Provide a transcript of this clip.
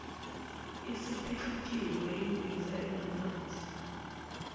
isiphihlikelwe yimbiza enamanzi